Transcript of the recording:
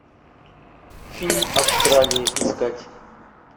фильм австралия искать